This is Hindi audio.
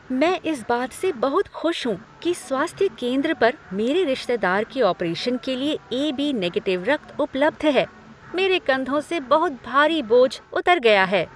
मैं इस बात से बहुत खुश हूँ कि स्वास्थ्य केंद्र पर मेरे रिश्तेदार के ऑपरेशन के लिए ए.बी. निगेटिव रक्त उपलब्ध है। मेरे कंधों से बहुत भारी बोझ उतर गया है।